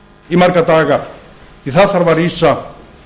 í marga daga því þar þarf að rísa